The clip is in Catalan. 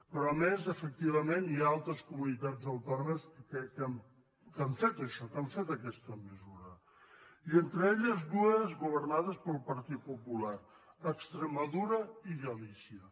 però a més efectivament hi ha altres comunitats autònomes que han fet això que han fet aquesta mesura i entre elles dues governades pel partit popular extremadura i galícia